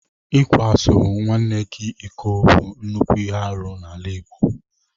Ịkwaso nnwa gị iko bụ nnukwu ihe arụ n'ala Igbo.